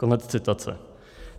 Konec citace.